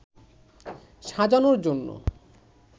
সাজানোর জন্য